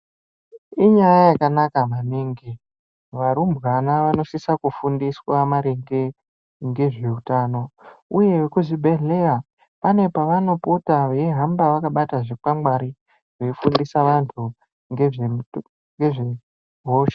Inyaya yakanaka maningi varumbwana vanosisa kufundiswa maringe ngezveutano uye vekuzvibhedhleya pane pavanopota veihamba vakabata zvikwangwari veifundisa vantu ngezvemuto ngezvehosha